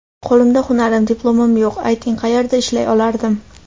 Qo‘limda hunarim, diplomim yo‘q, ayting qayerda ishlay olardim.